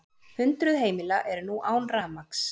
Hundruð heimila eru nú án rafmagns